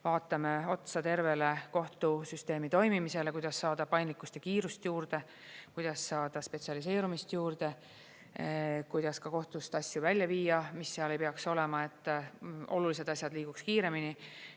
Vaatame otsa tervele kohtusüsteemi toimimisele, kuidas saada paindlikkust ja kiirust juurde, kuidas saada spetsialiseerumist juurde, kuidas kohtust asju välja viia, mis seal ei peaks olema, et olulised asjad liiguks kiiremini.